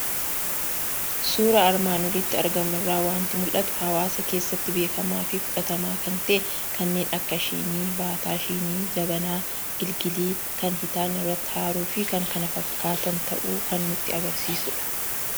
Suuraa armaan olitti argamu irraa waanti mul'atu; hawaasa keessatti beekamaafi fudhatamaa kan ta'e kanneen akka shinii, baataa shinii, jabanaa, gilgilii, kan hitaanni irratti aarufi kan kana fakkaatan ta'uu kan nutti agarsiisudha.